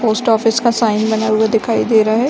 Post office का sign बना हुआ दिखाई दे रहा है।